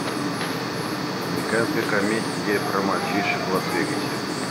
американская комедия про мальчишек в лас вегасе